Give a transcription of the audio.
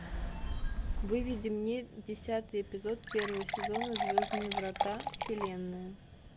выведи мне десятый эпизод первого сезона звездные врата вселенная